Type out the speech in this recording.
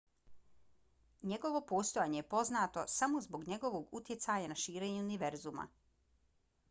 njegovo postojanje je poznato samo zbog njegovog utjecaja na širenje univerzuma